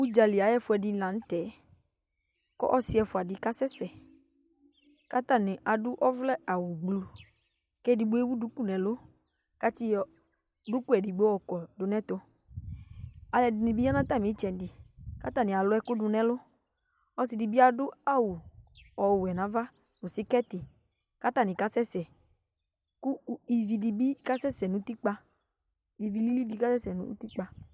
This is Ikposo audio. Udzali ayu ɛƒuɛdini la nu tɛ ku ɔsi ɛfua di kasɛsɛ katani adu ɔvlɛ awu blu kedigbo ewu duku nu ɛlu kati yɔ duku edigbo yɔkɔ du nɛtu aluɛdini bi ya nu atami ɛtsɛdi katani alu ɛku du nu ɛlu ɔsidibi adu awu ɔwɛ nava nu skɛti katani kasɛsɛ ku ivi lili kasɛsɛ nu utikpa